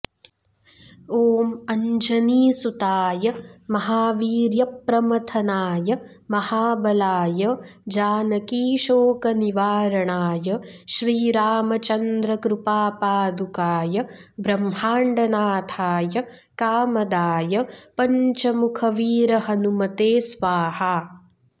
ॐ अञ्जनीसुताय महावीर्यप्रमथनाय महाबलाय जानकीशोकनिवारणाय श्रीरामचन्द्रकृपापादुकाय ब्रह्माण्डनाथाय कामदाय पञ्चमुखवीरहनुमते स्वाहा